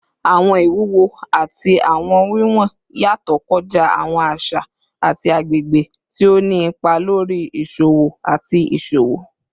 Awọn iwuwo ati awọn wiwọn yatọ kọja awọn aṣa ati agbegbe, ti o ni ipa lori iṣowo ati iṣowo